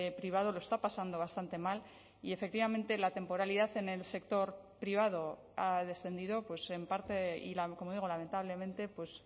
privado lo está pasando bastante mal y efectivamente la temporalidad en el sector privado ha descendido en parte y como digo lamentablemente pues